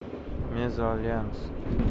мезальянс